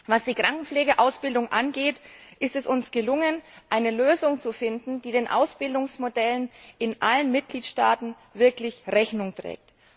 Was die Krankenpflegeausbildung angeht, ist es uns gelungen, eine Lösung zu finden, die den Ausbildungsmodellen in allen Mitgliedstaaten wirklich Rechnung trägt.